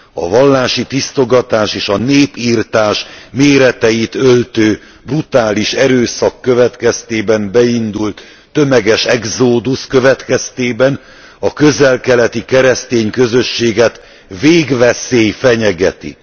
A vallási tisztogatás és a népirtás méreteit öltő, brutális erőszak következtében beindult tömeges exódusz következtében a közel keleti keresztény közösséget végveszély fenyegeti.